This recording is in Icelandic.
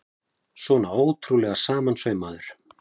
Svona ótrúlega samansaumaður!